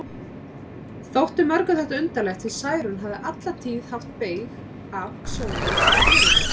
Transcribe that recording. Þótti mörgum þetta undarlegt, því Særún hafði alla tíð haft beyg af sjónum og fjörunni.